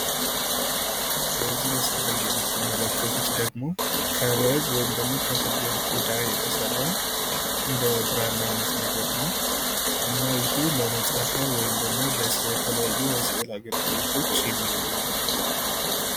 በዚህ ምስል ላይ የምትመለከቱት ደግሞ ከበግ ወይም ደግሞ ከፍየል ቆዳ የተሰራ እንደ ብራዕና አይነት ነገር ነው። እና ይህ ለመፃፊያ ወይም ደግሞ ለተለያዩ የስዕል አገልግሎቶች የሚውል ነው።